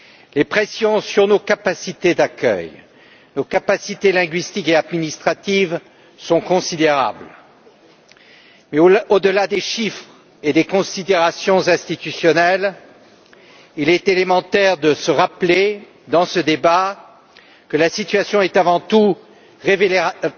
Les pressions sur nos capacités d'accueil, nos capacités linguistiques et administratives sont considérables mais au delà des chiffres et des considérations institutionnelles, il est élémentaire de se rappeler, dans ce débat, que la situation est, avant tout, révélatrice